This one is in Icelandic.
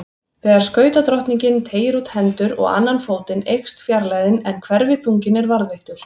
Þegar skautadrottningin teygir út hendur og annan fótinn eykst fjarlægðin en hverfiþunginn er varðveittur.